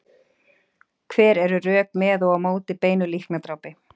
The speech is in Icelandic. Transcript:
Hver eru rök með og á móti beinu líknardrápi?